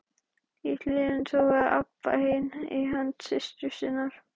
Í hliðinu togaði Abba hin í hönd systur sinnar.